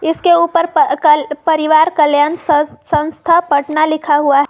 इसके ऊपर प क परिवार कल्याण स संस्थान पटना लिखा हुआ है।